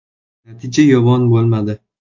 Natija yomon bo‘lmadi.